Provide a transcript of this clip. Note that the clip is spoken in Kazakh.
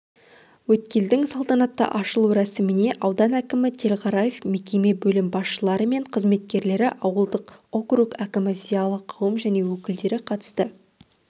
өткелдің салтанатты ашылу рәсіміне аудан әкімі телғараев мекеме бөлім басшылары мен қызметкерлері ауылдық округ әкімі зиялы қауым және өкілдері қатысты